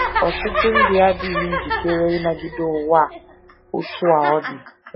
Ọtụtụ ndị adịghị njikere ịnagide ụwa a otú a ọ dị.